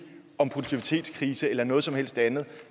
om produktivitetskrise eller noget som helst andet